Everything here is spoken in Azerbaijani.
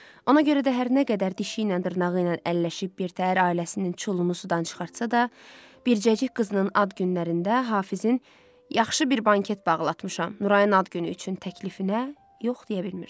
Ona görə də hər nə qədər dişiylə dırnağıyla əlləşib birtəhər ailəsinin çulumu sudan çıxartsa da, bircəcik qızının ad günlərində Hafizin “yaxşı bir banket bağlatmışam Nurainin ad günü üçün” təklifinə yox deyə bilmirdi.